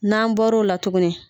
N'an bɔr'o la tuguni.